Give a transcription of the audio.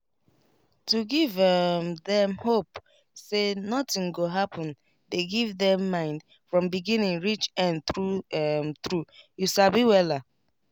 to give um dem hope say nothing go happen dey give mind from beginning reach end true um true you sabi wella